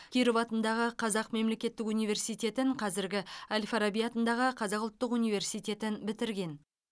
киров атындағы қазақ мемлекеттік университетін қазіргі әл фараби атындағы қазақ ұлттық университетін бітірген